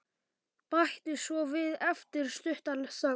Bætti svo við eftir stutta þögn.